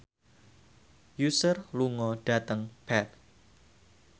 Usher lunga dhateng Perth